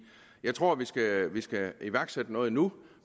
jeg tror vi skal vi skal iværksætte noget nu